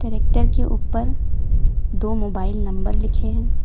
Tractor के ऊपर दो मोबाइल नंबर लिखे है।